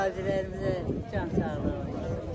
Qazilərimizə can sağlığı versin.